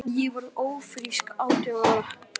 Ég varð ófrísk átján ára.